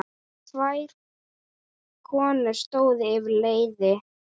Tvær konur stóðu yfir leiði.